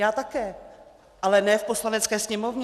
Já také, ale ne v Poslanecké sněmovně.